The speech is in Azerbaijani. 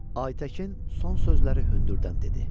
Aytəkin son sözləri hündürdən dedi.